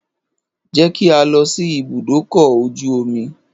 Je ki a lọ sí ibùdó ọkọ̀ ojú omi